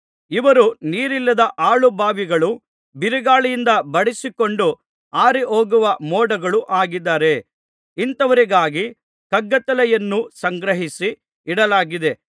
ಇವರು ನೀರಿಲ್ಲದ ಹಾಳು ಬಾವಿಗಳೂ ಬಿರುಗಾಳಿಯಿಂದ ಬಡಿಸಿಕೊಂಡು ಹಾರಿಹೋಗುವ ಮೋಡಗಳೂ ಆಗಿದ್ದಾರೆ ಇಂಥವರಿಗಾಗಿ ಕಗ್ಗತ್ತಲೆಯನ್ನು ಸಂಗ್ರಹಿಸಿ ಇಡಲಾಗಿದೆ